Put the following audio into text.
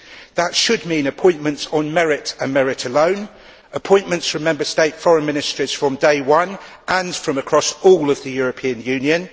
That should mean appointments on merit and merit alone, appointments from Member State foreign ministries from day one and from across all of the European Union